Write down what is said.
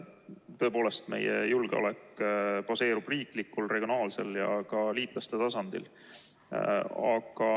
Tõepoolest, meie julgeolek baseerub riiklikul, regionaalsel ja ka liitlaste tasandil.